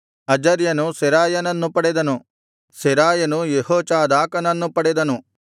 ಅಜರ್ಯನು ಸೆರಾಯನನ್ನು ಪಡೆದನು ಸೆರಾಯನು ಯೆಹೋಚಾದಾಕನನ್ನು ಪಡೆದನು